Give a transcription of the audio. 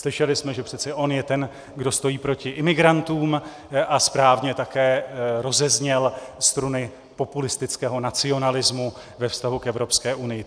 Slyšeli jsme, že přece on je ten, kdo stojí proti imigrantům, a správně také rozezněl struny populistického nacionalismu ve vztahu k Evropské unii.